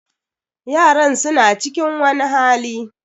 Yaran su na cikin wani hali.